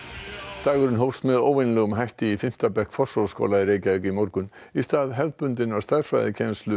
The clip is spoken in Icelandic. dagurinn hófst með óvenjulegum hætti í fimmta bekk Fossvogsskóla í Reykjavík í morgun í stað hefðbundinnar stærðfræðikennslu